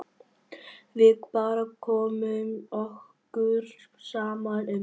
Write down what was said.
Við bara komum okkur saman um það.